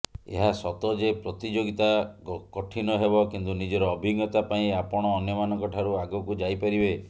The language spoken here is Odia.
ଏହା ସତ ଯେ ପ୍ରତିଯୋଗିତା କଠିନ ହେବ କିନ୍ତୁ ନିଜର ଅଭିଜ୍ଞତା ପାଇଁ ଆପଣ ଅନ୍ୟମାନଙ୍କଠାରୁ ଆଗକୁ ଯାଇପାରିବେ